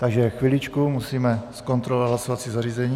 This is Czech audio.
Takže chviličku, musíme zkontrolovat hlasovací zařízení.